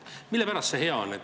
Mille pärast see hea on?